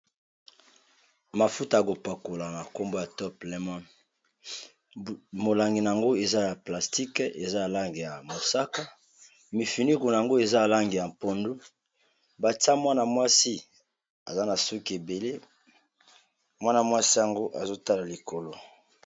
Mafuta yakopakola na nkombo ya top leymon molangi na yango eza ya plastique eza alange ya mosaka, mifinuku na yango eza alange ya mpondo, batia mwana-mwasi aza na suki ebele mwanamwasi yango azotala likolo.